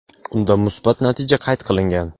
unda musbat natija qayd qilingan.